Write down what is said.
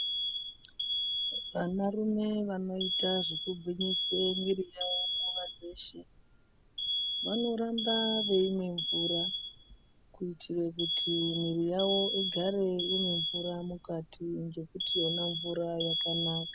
Ana rume anoitawo kutsa mwiri yawo nguwa dzeshe vanoramba veimwa mvura kuitira kuti mwiri yawo irambe ine mvura mukati nekuti yona mvura yakanaka.